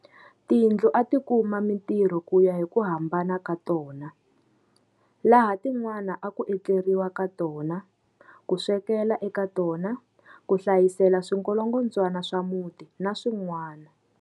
Tindlu a ti kuma mitirho ku ya hi ku hambana ka tona. Laha tin'wana a ku etleriwa ka tona, ku swekela eka tona, ku hlayisela swingolongodzwana swa muti na swin'wana.